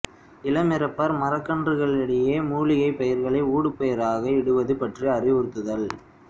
இளம் இரப்பர் மரக்கன்றுகளிடையே மூலிகைப் பயிர்களை ஊடுபயிராக இடுவது பற்றி அறிவுறுத்துதல்